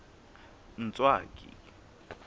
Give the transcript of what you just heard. ntswaki